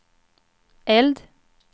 eld